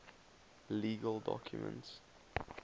legal documents